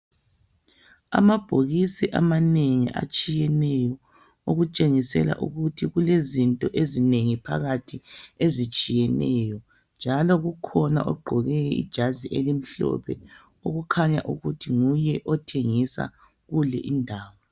Amabhokisi amanengi atshiyeneyo, okutshengisela ukuthi kulezinto ezinengi phakathi ezitshiyeneyo njalo kukhona ogqoke ijazi elimhlophe okukhanya ukuthi nguye othengisa kule indawo.